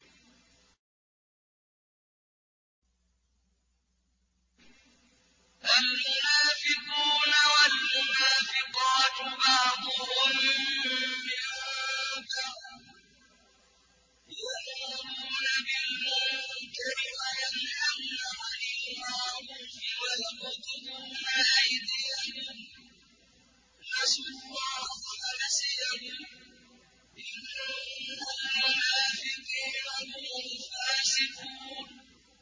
الْمُنَافِقُونَ وَالْمُنَافِقَاتُ بَعْضُهُم مِّن بَعْضٍ ۚ يَأْمُرُونَ بِالْمُنكَرِ وَيَنْهَوْنَ عَنِ الْمَعْرُوفِ وَيَقْبِضُونَ أَيْدِيَهُمْ ۚ نَسُوا اللَّهَ فَنَسِيَهُمْ ۗ إِنَّ الْمُنَافِقِينَ هُمُ الْفَاسِقُونَ